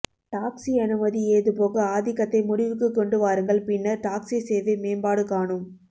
taxi அனுமதி ஏகபோக ஆதிக்கத்தை முடிவுக்குக் கொண்டு வாருங்கள் பின்னர் டாக்ஸி சேவை மேம்பாடு காணும்